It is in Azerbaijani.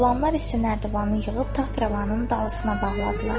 Qulamlar isə nərdivanı yığıb taxt-rəvanın dalısına bağladılar.